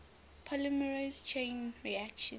polymerase chain reaction